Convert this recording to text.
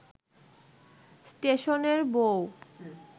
স্টেশনের বউ